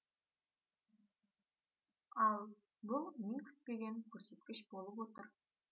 ал бұл мен күтпеген көрсеткіш болып отыр